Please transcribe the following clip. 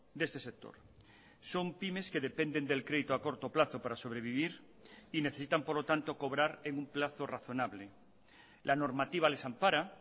de este sector son pymes que dependen del crédito a corto plazo para sobrevivir y necesitan por lo tanto cobrar en un plazo razonable la normativa les ampara